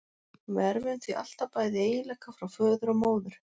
Við erfum því alltaf bæði eiginleika frá föður og móður.